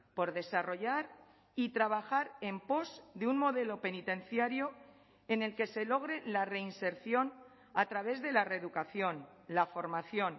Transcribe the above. por desarrollar y trabajar en pos de un modelo penitenciario en el que se logre la reinserción a través de la reeducación la formación